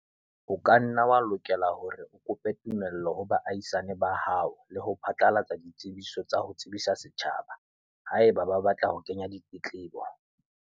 O ka nna wa lokela hore o kope tumello ho baahisane ba hao le ho phatlalatsa ditsebiso tsa ho tsebisa setjhaba, haeba ba batla ho kenya ditletlebo.